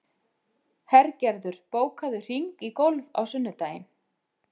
Hergerður, bókaðu hring í golf á sunnudaginn.